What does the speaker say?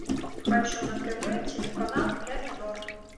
хочу на тв телеканал ля минор